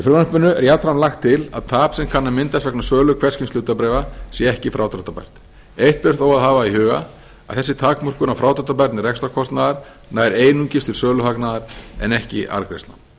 frumvarpinu er jafnframt lagt til að tap sem kann að myndast vegna sölu hvers kyns hlutabréfa sé ekki frádráttarbært eitt ber þó að hafa í huga að þessi takmörkun á frádráttarbærni rekstrarkostnaðar nær einungis til söluhagnaðar en ekki arðgreiðslna